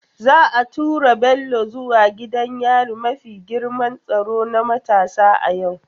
Za a tura Bello zuwa gidan yari mafi girman tsaro na matasa a yau.